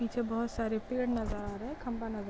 पीछे बहुत सारे पेड़ नज़र रहे है खंभा नज़र आ --